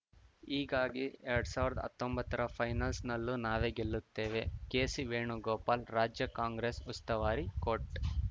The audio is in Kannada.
ಹೀಗಾಗಿ ಎರಡ್ ಸಾವಿರ್ದಾ ಹತ್ತೊಂಬತ್ತರ ಫೈನಲ್ಸ್‌ನಲ್ಲೂ ನಾವೇ ಗೆಲ್ಲುತ್ತೇವೆ ಕೆಸಿ ವೇಣುಗೋಪಾಲ್‌ ರಾಜ್ಯ ಕಾಂಗ್ರೆಸ್‌ ಉಸ್ತುವಾರಿ ಕೋಟ್‌